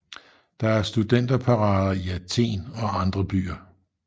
Der er studenterparader i Athen og andre byer